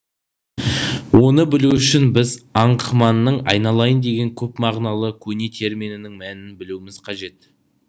оны білу үшін біз аңқыманың аи налаи ын деген көпмағыналы көне терминінің мәнін білуіміз қажет